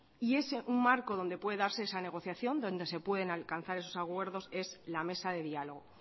y ese un marco donde pueda darse esa negociación donde se pueden alcanzar esos acuerdos es la mesa de diálogo